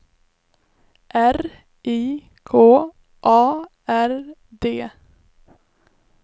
R I K A R D